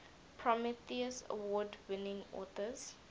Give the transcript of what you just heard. prometheus award winning authors